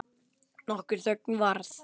Nokkur þögn varð.